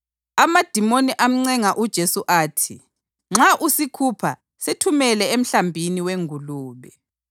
Amadimoni amncenga uJesu athi, “Nxa usikhupha, sithumele emhlambini wengulube.”